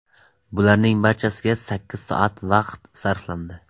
Bularning barchasiga sakkiz soat vaqt sarflandi.